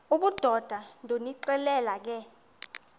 obudoda ndonixelela ke